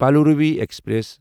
Palaruvi express